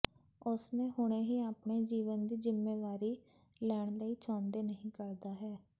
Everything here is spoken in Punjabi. ਉਸ ਨੇ ਹੁਣੇ ਹੀ ਆਪਣੇ ਜੀਵਨ ਦੀ ਜ਼ਿੰਮੇਵਾਰੀ ਲੈਣ ਲਈ ਚਾਹੁੰਦੇ ਨਹੀ ਕਰਦਾ ਹੈ